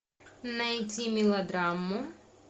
найти мелодраму